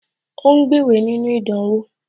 Ó ń gbéwèé nínú ìdánwò